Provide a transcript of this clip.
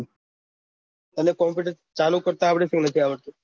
તને કોમ્પુટર ચાલુ કરવા આવડે છે કે નથી આવડતું